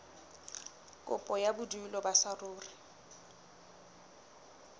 kopo ya bodulo ba saruri